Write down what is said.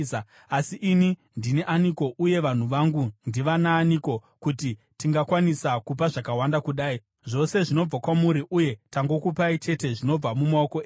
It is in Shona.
“Asi ini ndini aniko, uye vanhu vangu ndivanaaniko kuti tingakwanisa kupa zvakawanda kudai? Zvose zvinobva kwamuri, uye tangokupai chete zvinobva mumaoko enyu.